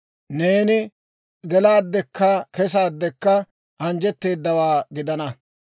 Neeni gelaaddekka kesaaddekka anjjetteedawaa gidana.